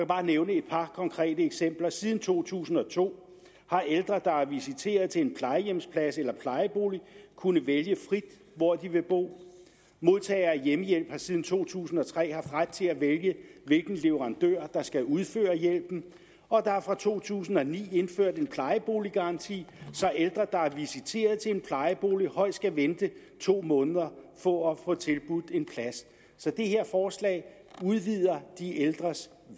bare nævne et par konkrete eksempler siden to tusind og to har ældre der er visiteret til en plejehjemsplads eller plejebolig kunnet vælge frit hvor de vil bo modtagere af hjemmehjælp har siden to tusind og tre haft ret til at vælge hvilken leverandør der skal udføre hjælpen og der er fra to tusind og ni indført en plejeboliggaranti så ældre der er visiteret til en plejebolig højst skal vente to måneder på at få tilbudt en plads så det her forslag udvider de ældres